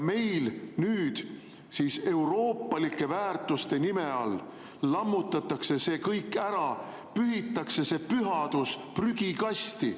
Meil nüüd siis euroopalike väärtuste nime all lammutatakse see kõik ära, pühitakse see pühadus prügikasti.